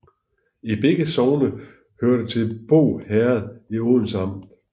Begge sogne hørte til Båg Herred i Odense Amt